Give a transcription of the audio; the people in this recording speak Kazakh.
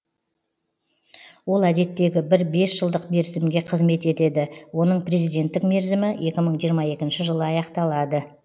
ол әдеттегі бір бес жылдық мерзімге қызмет етеді оның президенттік мерзімі екі мың жиырма екінші жылы аяқталады